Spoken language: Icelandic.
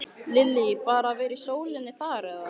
Lillý: Bara að vera í sólinni þar eða?